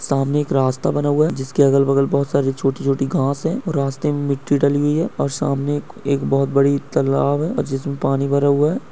सामने एक रास्ता बना हुआ है जिसके अगल-बगल बहुत सारी छोटी-छोटी घास है। रास्ते में मिट्टी डली हुई है और सामने एक एक बहुत बड़ी तलाब है जिसमें पानी भरा हुआ है।